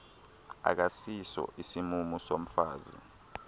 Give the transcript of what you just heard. akasiso isimumu somfazi